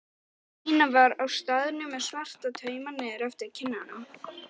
Nína var á staðnum með svarta tauma niður eftir kinnunum.